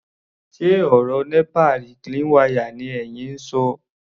Ṣe ọ̀rọ̀ nípa reclean wire ni ẹyin ń ṣọ?